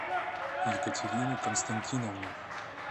екатерину константиновну